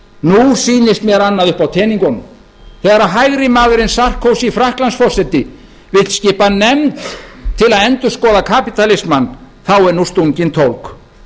nú sýnist mér annað uppi á teningunum þegar hægrimaðurinn sarkozy frakklandsforseti vill skipa nefnd til að endurskoða kapítalismann þá er nú stungin tólg